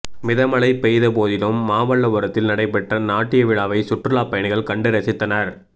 மிதமழை பெய்தபோதிலும் மாமல்லபுரத்தில் நடைபெற்ற நாட்டியவிழாவை சுற்றுலா பயணிகள் கண்டு ரசித்தனா்